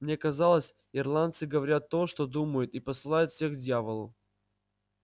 мне казалось ирландцы говорят то что думают и посылают всех к дьяволу